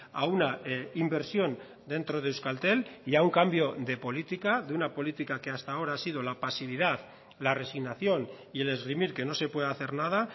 a una inversión dentro de euskaltel y a un cambio de política de una política que hasta ahora ha sido la pasividad la resignación y el esgrimir que no se puede hacer nada